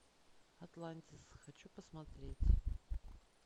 атлантис хочу посмотреть